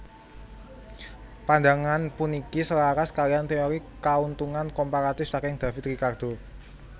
Pandangan puniki selaras kaliyan téori Kauntungan Komparatif saking David Ricardo